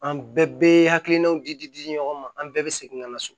An bɛɛ hakilinaw di di di di ɲɔgɔn ma an bɛɛ bɛ segin ka na so